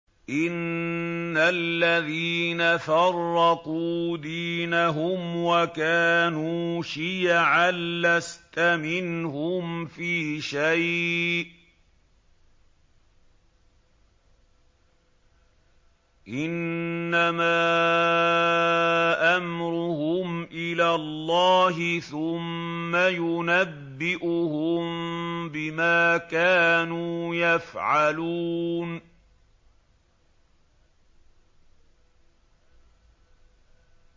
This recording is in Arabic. إِنَّ الَّذِينَ فَرَّقُوا دِينَهُمْ وَكَانُوا شِيَعًا لَّسْتَ مِنْهُمْ فِي شَيْءٍ ۚ إِنَّمَا أَمْرُهُمْ إِلَى اللَّهِ ثُمَّ يُنَبِّئُهُم بِمَا كَانُوا يَفْعَلُونَ